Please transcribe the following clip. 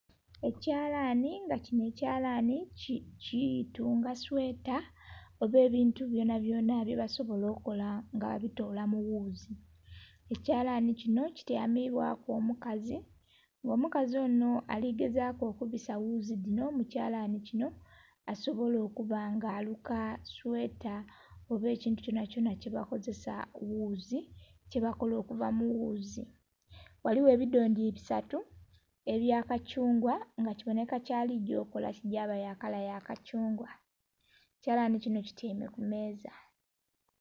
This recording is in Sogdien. Ekyalanhi nga kinho ekyalanhi kitunga sweta oba ebintu byona byona bya basobola kola nga abitola mu ghuzi, ekyalani kinho kitya mibwaku omukazi nga omukazi onho aligezaku okubisa ghuzi dino mu kyalani kinho asobola okuba nga aluka sweta oba ekintu kyonakyona kye bakozeza ghuzi kyebakola okuva mu ghuzi. Ghaligho ebidhondhi bisatu ebya kacungwa nga kibonheka kya ligya okukola kigyaba kya kala ya kacungwa. Ekyalani kinho kityaime ku meeza.